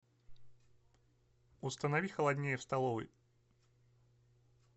установи холоднее в столовой